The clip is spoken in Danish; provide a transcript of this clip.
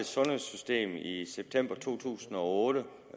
sundhedssystem i september 2008